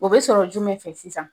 O bɛ sɔrɔ jumɛn fɛ sisan?